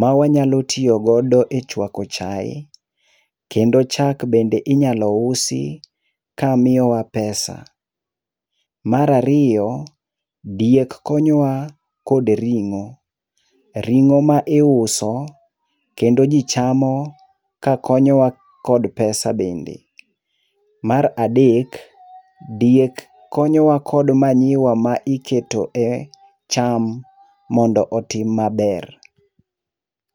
mawanyalo tiyogodo echuako chae. Kendo chak bende inyalo usi kamiyowa pesa. Mar ariyo, diek konyowa kod ring'o, ring'o ma iuso ,kendo ji chamo kakonyowa kod pesa bende. Mar adek, diek konyowa kod manyiwa ma iketo e cham mondo otim maber.